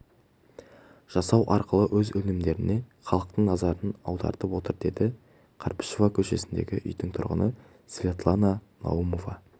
жасау арқылы өз өнімдеріне халықтың назарын аудартып отыр деді қарбышев көшесіндегі үйдің тұрғыны светлана наумова